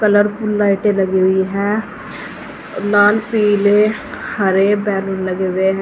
Colourful लाइटें लगी हुई हैं लाल पीले हरे बैलून लगे हुए हैं।